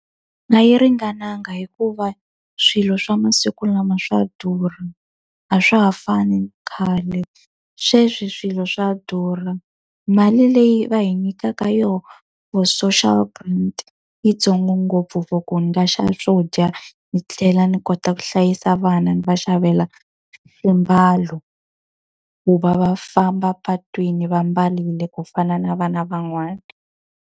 A yi ringananga hikuva swilo swa masiku lama swa durha, a swa ha fani na khale. Sweswi swilo swa durha. Mali leyi va hi nyikaka yona for social grant i yi ntsongo ngopfu for ku ni nga xava swo dya ni tlhela ni kota ku hlayisa vana, ni va xavela swiambalo ku va va famba epatwini va ambarile ku fana na vana van'wana.